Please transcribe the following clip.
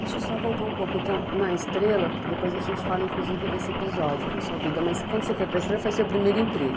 Deixa eu só voltar um pouco, então, na Estrela, porque depois a gente fala, inclusive, desse episódio na sua vida, mas quando você foi para a Estrela foi seu primeiro emprego.